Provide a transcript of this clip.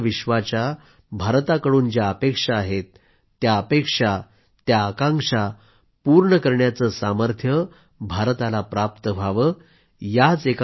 आणि संपूर्ण विश्वाच्या भारताकडून ज्या अपेक्षा आहेत त्या अपेक्षा आकांक्षा पूर्ण करण्याचे सामर्थ्य भारताला प्राप्त व्हावे